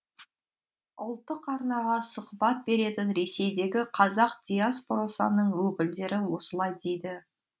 ұлттық арнаға сұхбат беретін ресейдегі қазақ диаспорасының өкілдері осылай дейді